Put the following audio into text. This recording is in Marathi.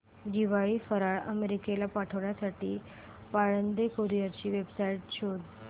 दिवाळी फराळ अमेरिकेला पाठविण्यासाठी पाळंदे कुरिअर ची वेबसाइट शोध